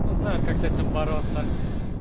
мы знаем как с этим бороться